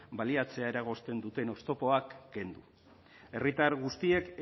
baliatzea eragozten duten oztopoak kendu herritar guztiek